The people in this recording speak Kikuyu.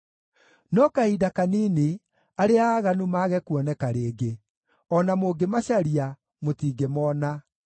No kahinda kanini, arĩa aaganu mage kuoneka rĩngĩ; o na mũngĩmacaria, mũtingĩmoona.